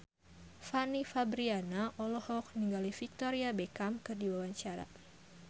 Fanny Fabriana olohok ningali Victoria Beckham keur diwawancara